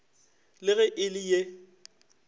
le ge e le ye